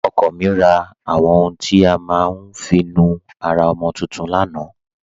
Ọkọ mi rà àwọn ọ̀hùn tí a má n fi nú ara ọmọ tuntun lánà.